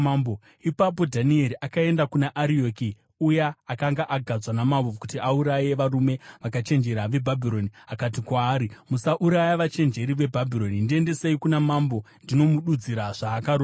Ipapo Dhanieri akaenda kuna Arioki, uya akanga agadzwa namambo kuti auraye varume vakachenjera veBhabhironi, akati kwaari, “Musauraya vachenjeri veBhabhironi. Ndiendesei kuna mambo, ndinomududzira zvaakarota.”